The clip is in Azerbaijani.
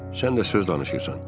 Sən də söz danışırsan.